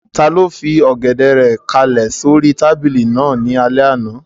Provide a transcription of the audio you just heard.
Taló fi Ọ̀gẹ̀dẹ̀ rẹ̀ kálẹ̀ sóri tábìlì náà ní alẹ́ àná?